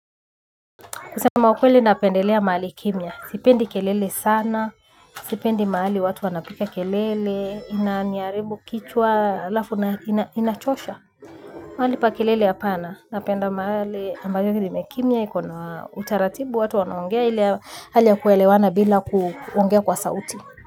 Kusema ukweli napendelea mahali kimya, sipendi kelele sana, sipendi mahali watu wanapiga kelele, inaniharibu kichwa, alafu inachosha. Mahali pa kelele ya hapana, napenda mahali ambayo imekimya, ikona utaratibu watu wanaongea ili hali ya kuelewana bila kuongea kwa sauti.